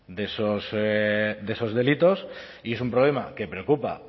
de esos delitos y es un problema que preocupa